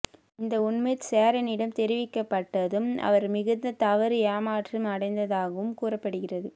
இந்த உண்மை சேரனிடம் தெரிவிக்கப்பட்டதும் அவர் மிகுந்த தவறு ஏமாற்றம் அடைந்ததாகவும் கூறப்படுகிறது